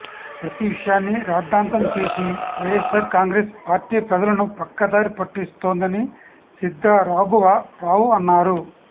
ప్రతి విషయాన్ని రాద్దాంతం చేసి వైయస్సార్ కాంగ్రెస్ పార్టీ ప్రజలను పక్కదారి పట్టిస్తోందని శిద్ధా రాఘవ రావు అన్నారు